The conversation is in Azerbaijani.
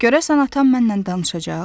Görəsən atam mənlə danışacaq?